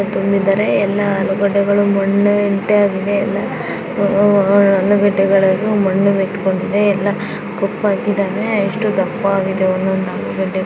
ತುಂಬಿದ್ದಾರೆ ಎಲ್ಲಾ ಆಲೂಗಡ್ಡೆಗಳು ಮಣ್ಣು ಎಲ್ಲಾ ಆಹ್ ಆಲೂಗಡ್ಡೆಗಳಲ್ಲೂ ಮಣ್ಣು ಮೇತ್ ಕೊಂಡಿದೆ. ಎಲ್ಲಾ ಕಪ್ಪಾಗಿದೆ ಎಷ್ಟ್ ದಪ್ಪಾಗಿದೆ ಒಂದೊಂದ್ ಆಲೂಗಡ್ಡೆ ಕೂಡಾ.